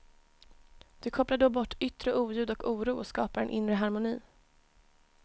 Du kopplar då bort yttre oljud och oro och skapar en inre harmoni.